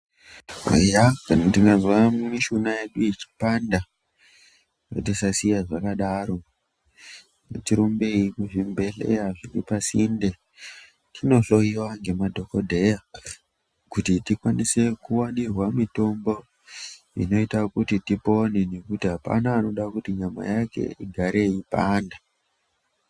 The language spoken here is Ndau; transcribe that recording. Eya kana tikazwa mishuna yedu ichipanda ngatisa siya zvakadaro ngati rumbeyi ku zvibhedhleya zviri pa sinde tino hloyiwa ne madhokodheya kuti tikwanise kuwanirwe mitombo inoita kuti tipone ngekuti apana anoda kuti nyama yake igare yeipanda.